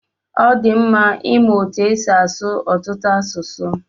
Ọdi mma ịmụ etu esi asụ ọtụtụ asụsụ.